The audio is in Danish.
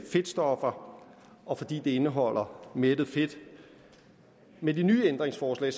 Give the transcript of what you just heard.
fedtstoffer og fordi det indeholder mættet fedt med de nye ændringsforslag